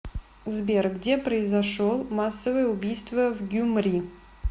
сбер где произошел массовое убийство в гюмри